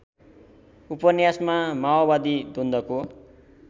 उपन्यासमा माओबादी द्वन्द्वको